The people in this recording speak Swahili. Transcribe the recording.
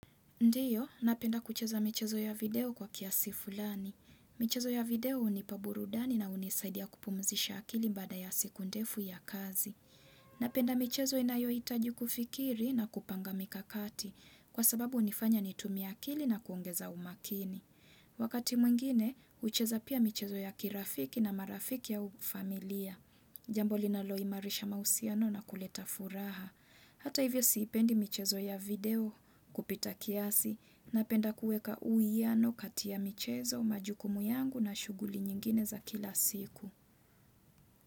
Ndiyo, napenda kucheza michezo ya video kwa kiasi fulani. Michezo ya video hunipa burudani na hunisaidia kupumzisha akili baada ya siku ndefu ya kazi. Napenda michezo inayohitaji kufikiri na kupanga mikakati kwa sababu unifanya nitumie akili na kuongeza umakini. Wakati mwingine, ucheza pia michezo ya kirafiki na marafiki au ya ufamilia. Jambo linaloimarisha mahusiano na kuleta furaha. Hata hivyo siipendi michezo ya video kupita kiasi napenda kuweka uiiano kati michezo majukumu yangu na shughuli nyingine za kila siku.